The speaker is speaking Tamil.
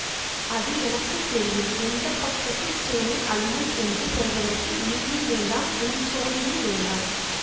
அது எனக்கு தெரியும் எந்த பக்கத்து சேனை அழியும் என்று சொல்வதற்கு நீயும் வேண்டாம் உம் சோழியும் வேண்டாம்